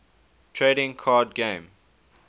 trading card game